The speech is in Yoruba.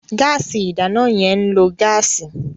Gáàsì ìdáná yẹn ń lo gáàsì.